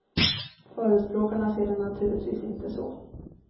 Förespråkarna ser det naturligvis inte så.